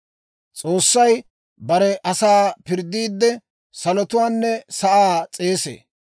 S'oossay bare asaa pirddiidde, salotuwaanne sa'aa s'eesee.